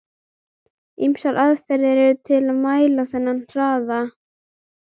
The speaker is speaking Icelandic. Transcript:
Ýmsar aðferðir eru til að mæla þennan hraða.